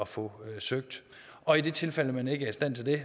få ansøgt og i det tilfælde at man ikke er i stand til det